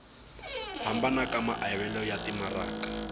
hambana ka maavelo ya timaraka